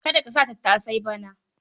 Ka dasa tattasai bana?